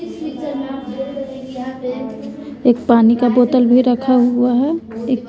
एक पानी का बोतल भी रखा हुआ है।